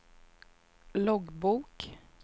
loggbok